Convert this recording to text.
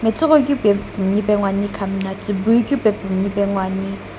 matsiighoikeu pae minipae nguoni kamna tsiibui ku lo minipae nguoni.